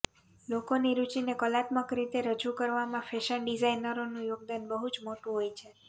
લોકોની રુચિને કલાત્મક રીતે રજૂ કરવામાં ફેશન ડિઝાઈનરોનું યોગદાન બહુંજ મોટું હોય છે